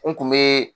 N kun be